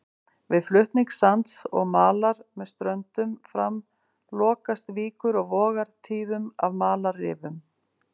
Við flutning sands og malar með ströndum fram lokast víkur og vogar tíðum af malarrifum.